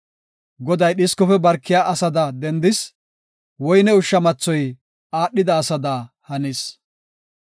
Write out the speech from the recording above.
Goday dhiskofe barkiya asada dendis; woyne ushsha mathoy aadhida asada hanis.